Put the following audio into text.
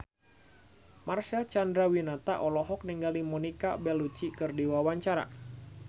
Marcel Chandrawinata olohok ningali Monica Belluci keur diwawancara